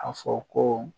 A fɔ ko